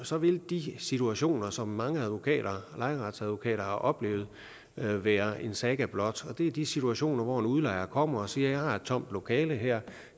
så vil de situationer som mange lejeretsadvokater har oplevet være en saga blot det er de situationer hvor en udlejer kommer og siger jeg har et tomt lokale her